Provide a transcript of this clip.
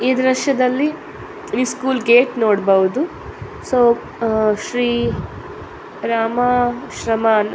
ಈ ದೃಶ್ಯದಲ್ಲಿ school gate ನೋಡಬಹುದು ಸೊ ಅಹ್ ಶ್ರೀ ರಾಮ ಶ್ರಮನ್ --